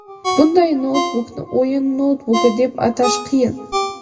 bunday noutbukni o‘yin noutbuki deb atash qiyin.